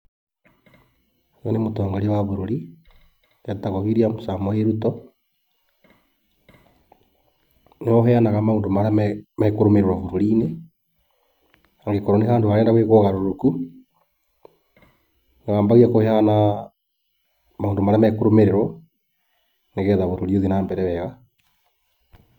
Ũyũ nĩ mũtongoria wa bũrũri, etagwo William Samoei Ruto. Nĩwe ũheanaga maũndũ marĩa mekũrũmĩrĩrwo bũrũri-inĩ. Hangĩkorwo nĩ handũ harendwo gwĩkwo ũgarũrũku, no ambie kũheana maũndũ marĩa makũrũmĩrĩrwo nĩgetha bũrũri ũthiĩ na mbere weega.